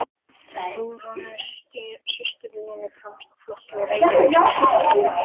Hugrúnu systur Línu fremsta í flokki og Reykjavíkurmeistararnir úr